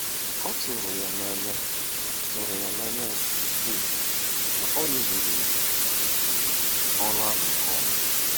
Ọ tụrụ ya n'anya tụrụ ya n'anya nke ukwuu na ọ rụzuru ọrụ ahụ nke ọma.